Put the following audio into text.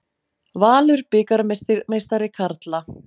Valur bikarmeistari karla